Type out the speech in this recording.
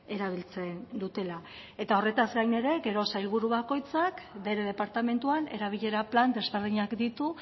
erabiltzen dutela eta horretaz gainera gero sailburu bakoitzak bere departamentuan erabilera plan desberdinak ditu